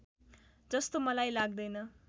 जस्तो मलाई लाग्दैन